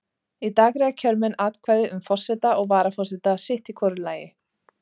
Í dag greiða kjörmenn atkvæði um forseta og varaforseta sitt í hvoru lagi.